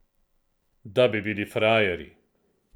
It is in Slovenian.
Da bi bili frajerji!